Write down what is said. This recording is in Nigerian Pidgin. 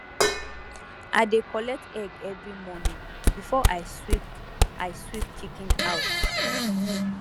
i dey collect egg every morning before i sweep i sweep chicken house